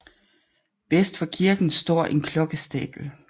Vest for kirken står en klokkestabel